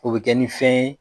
O be kɛ nin fɛn ye